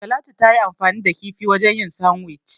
Talatu tayi anfani da kifi wajen yin "Sandwich".